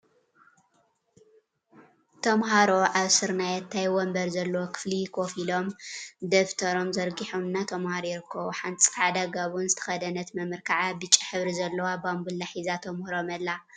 ተምሃሮ አብ ስርናየታይ ወንበር ዘለዎ ክፍሊ ኮፍ ኢሎም፤ ደፍተሮ ዘርጊሖም እናተምሃሩ ይርከቡ፡፡ ሓንቲ ፃዕዳ ጋቦን ዝተከደነት መምህር ከዓ ብጫ ሕብሪ ዘለዋ ባምቡላ ሒዛ ተምህሮም አላ፡፡ እዞም ተምሃሮ ክንደይ ክፍሊ እዮም?